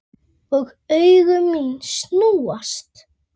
Og augu mín snúast.